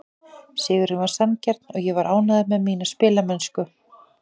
Sigurinn var sanngjarn og ég var ánægður með mína spilamennsku.